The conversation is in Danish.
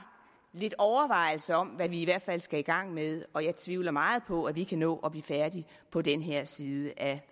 lidt overvejelser om hvad vi i hvert fald skal i gang med og jeg tvivler meget på at vi kan nå at blive færdige på den her side af